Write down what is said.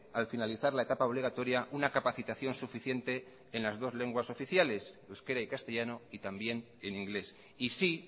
al finalizar la etapa obligatoria una capacitación suficiente en las dos lenguas oficiales euskera y castellano y también en inglés y sí